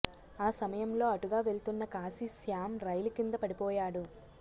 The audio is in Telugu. ఆ సమయంలో అటుగా వెళ్తున్న కాశీ శ్యాం రైలు కింద పడిపోయాడు